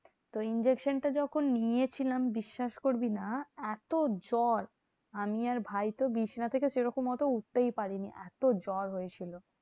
তো injection টা যখন নিয়েছিলাম বিশ্বাস করবি না? এত জ্বর আমি ভাই তো বিছানা থেকে সেরকম উঠতেই পারিনি এত্ত জ্বর হয়েছিল।